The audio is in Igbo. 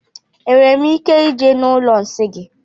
Enwere m ike ije na ụlọ nsị gị?